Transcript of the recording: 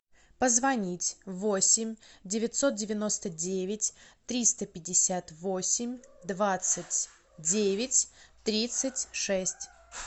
позвонить восемь девятьсот девяносто девять триста пятьдесят восемь двадцать девять тридцать шесть